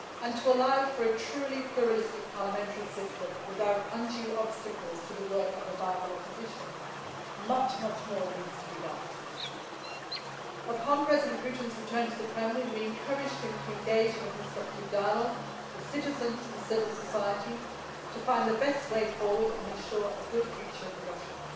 To allow for a truly pluralistic parliamentary system, without undue obstacles to the work of a viable opposition, much more needs to be done. Upon President Putin's return to the Kremlin, we encouraged him to engage in a constructive dialogue with citizens and civil society to find the best way forward and ensure a good future for Russia.